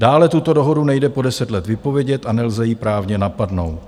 Dále, tuto dohodu nejde po 10 let vypovědět a nelze ji právně napadnout.